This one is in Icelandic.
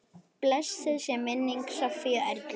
Blessuð sé minning Sofíu Erlu.